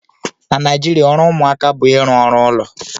Na Naijiria ọrụ ụmụaka bụ ịrụ ọrụ ụlọ